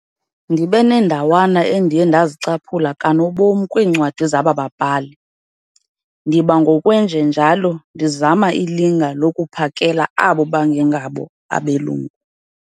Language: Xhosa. ndibe neendawana endiye ndazicaphula kanobom kwiincwadi zaba babhali, ndiba ngokwenje njalo ndizama ilinga lokuphakela abo bangengabo abeLungu.